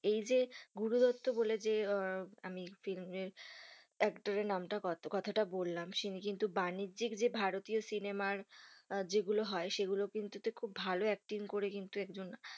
এই যে গুরু দত্ত বলে যে, আহ আমি চিনি actor এর নাম টা কথা টা বললাম তিনি কিন্তু বাণিজ্যিক যে ভারতীয় সিনেমার যে গুলো হয়, সে গুলো কিন্তু তে খুব ভালো acting করে একজন।